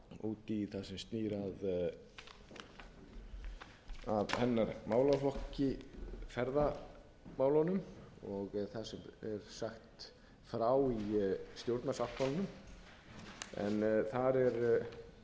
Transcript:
út í það sem snýr að hennar málaflokki ferðamálunum og það sem er sagt frá í stjórnarsáttmálanum en þar er eins og hefur